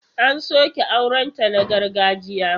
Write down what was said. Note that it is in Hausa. An soke aurenta na gargajiya.